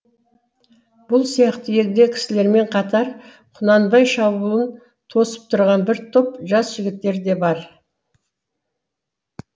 бұл сияқты егде кісілермен қатар құнанбай шабуылын тосып тұрған бір топ жас жігіттер де бар